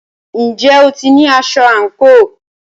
Ǹjẹ́ o ti ní aṣọ àǹkóò?